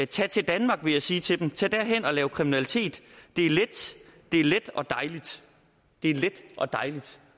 tag til danmark vil jeg sige til dem tag derhen og lav kriminalitet det er let og dejligt det er let og dejligt